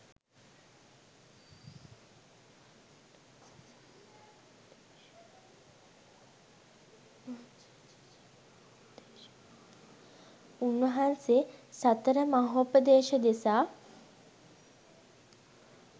උන් වහන්සේ සතර මහෝපදේශ දෙසා